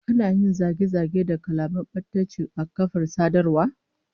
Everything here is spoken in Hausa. Kana yin zage-zage da kalaman batanci a kafar sadarwa?